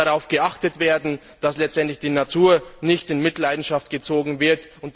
Dabei muss darauf geachtet werden, dass letztendlich die Natur nicht in Mitleidenschaft gezogen wird.